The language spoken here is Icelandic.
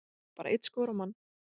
Bara einn skór á mann